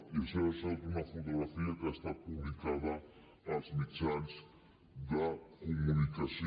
i això s’ha tret d’una fotografia que ha estat publicada als mitjans de comunicació